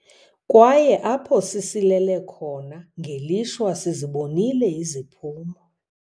Kwaye apho sisilele khona, ngelishwa, sizibonile iziphumo.